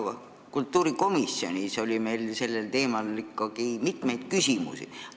Ka kultuurikomisjonis oli meil ikkagi mitmeid küsimusi sellel teemal.